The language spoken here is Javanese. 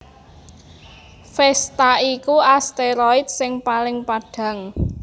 Vesta iku asteroid sing paling padhang